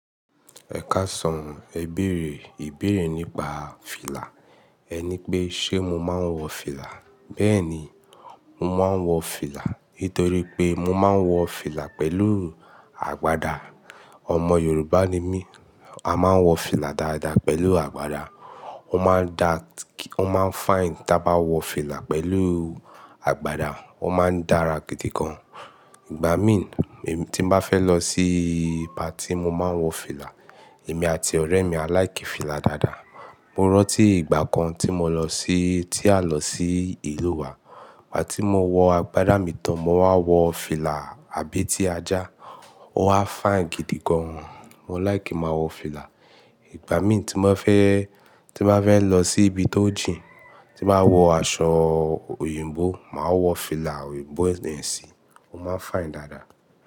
Ẹ káàsán, ẹ bèèrè ìbéèrè nípa fìlà. Ẹ ní pé, ṣe mo máa ń wọ fìlà? Bẹ́ẹ̀ni, mo máa ń wọ fìlà. Nítorí pé mo máa ń wọ fìlà pẹ̀lú àgbàdá. Ọmọ Yorùbá ni mí, a máa ń wọ fìlà dáadáa pẹ̀lú àgbàdá. Ó máa ń da, ó máa ń fine tí a bá wọ fìlà pẹ̀lú àgbàdá. Ó máa ń dára gidi gan. Ìgbà mí tí n bá fẹ́ lọ sí pátì mo máa ń wọ fìlà, èmi àti ọ̀rẹ́ mi á láìkì fìlà dáadáa. Mo rántí ìgbà kan tí mo lọ sí, tí a lọ sí ìlú wa. Ìgbà tí mo wọ àgbàdá mi tán, mo wá wọ fìlà àbé tí ajá, ó wá fine gidi gan. Mo láìkì máa wọ fìlà. Ìgbà mí tí mo fẹ́, tí mo fẹ́ lọ sí ibi tó jìn, tí màá wọ aṣọ òyìnbó, màá wọ fìlà òyìnbó yẹn sí i, ó máa fine dáadáa.